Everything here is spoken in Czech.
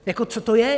Jako co to je?